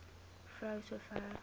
vrou so ver